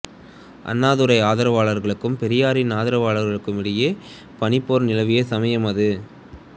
அண்ணாதுரை ஆதரவாளர்களுக்கும் பெரியாரின் ஆதரவாளர்களுக்கும் இடையே பனிப்போர் நிலவிய சமயம் அது